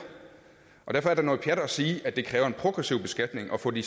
derfor er det noget pjat at sige at det kræver en progressiv beskatning at få de